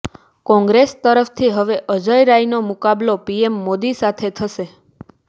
કોંગ્રેસ તરફથી હવે અજય રાયનો મુકાબલો પીએમ મોદી સાથે થશે